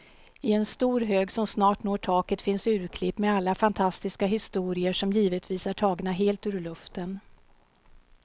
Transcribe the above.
I en stor hög som snart når taket finns urklipp med alla fantastiska historier, som givetvis är tagna helt ur luften.